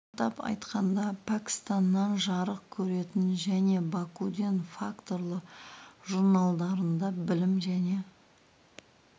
атап айтқанда пәкістаннан жарық көретін және бакуден факторлы журналдарында білім және